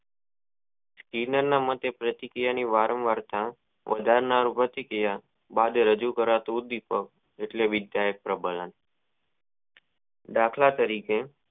હિનલ ની માટે પ્રતિક્રિયા વારંવાર માટે રજૂ કરાતું દિપક એટલે વિદ્યાક પ્રબંન ન દાખલા તરીકે